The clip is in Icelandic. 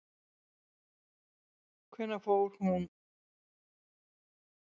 Hvenær hún kemur fyrst fram er hins vegar ekki ljóst.